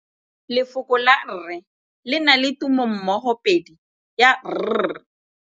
Lefoko la rre le na le tumammogôpedi ya, r.